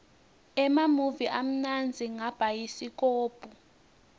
emamuvi amnandza ngabhayisikobho